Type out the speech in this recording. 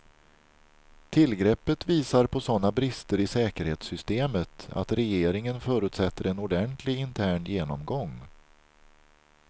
Tillgreppet visar på sådana brister i säkerhetssystemet att regeringen förutsätter en ordentlig intern genomgång.